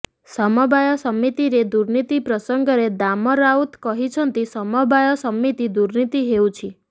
ସମବାୟ ସମିତିରେ ଦୁର୍ନୀତି ପ୍ରସଙ୍ଗରେ ଦାମ ରାଉତ କହିଛନ୍ତି ସମବାୟ ସମିତି ଦୁର୍ନୀତି ହେଉଛି